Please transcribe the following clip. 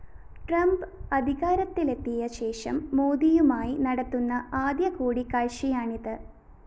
Trump അധികാരത്തിലെത്തിയ ശേഷം മോദിയുമായി നടത്തുന്ന ആദ്യ കൂടിക്കാഴ്ചയാണിത്